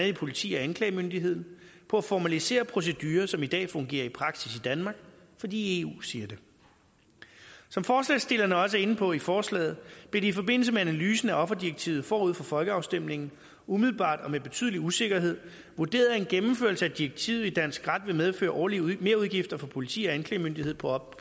i politi og anklagemyndighed på at formalisere procedurer som i dag fungerer i praksis i danmark fordi eu siger det som forslagsstillerne også er inde på i forslaget blev det i forbindelse med analysen af offerdirektivet forud for folkeafstemningen umiddelbart og med betydelig usikkerhed vurderet at en gennemførelse af direktivet i dansk ret ville medføre årlige merudgifter for politi og anklagemyndighed på op